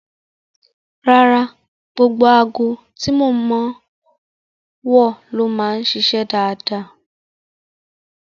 Rárá, gbogbo aago tí mo máa ń wọ̀ ló máa ń ṣiṣẹ́ dáadáa